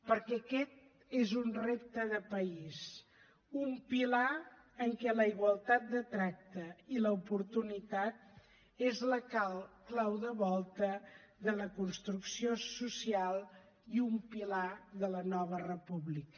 perquè aquest és un repte de país un pilar en què la igualtat de tracte i l’oportunitat són la clau de volta de la construcció social i un pilar de la nova república